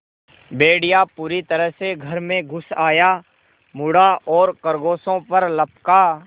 भेड़िया पूरी तरह से घर में घुस आया मुड़ा और खरगोशों पर लपका